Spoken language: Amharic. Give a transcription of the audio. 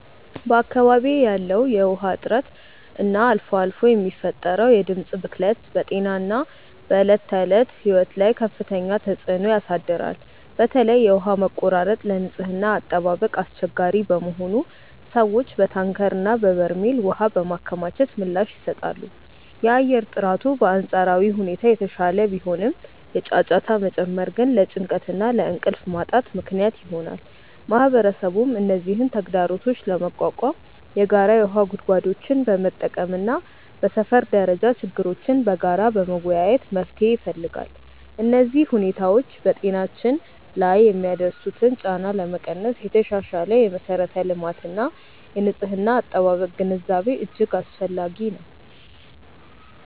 በአካባቢዬ ያለው የውሃ እጥረት እና አልፎ አልፎ የሚፈጠረው የድምፅ ብክለት በጤናና በዕለት ተዕለት ሕይወት ላይ ከፍተኛ ተጽዕኖ ያሳድራል። በተለይ የውሃ መቆራረጥ ለንጽህና አጠባበቅ አስቸጋሪ በመሆኑ ሰዎች በታንከርና በበርሜል ውሃ በማከማቸት ምላሽ ይሰጣሉ። የአየር ጥራቱ በአንጻራዊ ሁኔታ የተሻለ ቢሆንም፣ የጫጫታ መጨመር ግን ለጭንቀትና ለእንቅልፍ ማጣት ምክንያት ይሆናል። ማህበረሰቡም እነዚህን ተግዳሮቶች ለመቋቋም የጋራ የውሃ ጉድጓዶችን በመጠቀምና በሰፈር ደረጃ ችግሮችን በጋራ በመወያየት መፍትሄ ይፈልጋል። እነዚህ ሁኔታዎች በጤናችን ላይ የሚያደርሱትን ጫና ለመቀነስ የተሻሻለ የመሠረተ ልማትና የንጽህና አጠባበቅ ግንዛቤ እጅግ አስፈላጊ ነው።